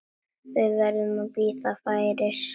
Við verðum að bíða færis.